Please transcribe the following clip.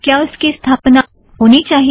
क्या उसकी स्थापना होनी चाहिए